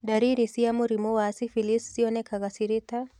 Ndariri cia mũrimũ wa syphilis cionekaga cirĩ ta